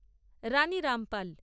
Rani Rampal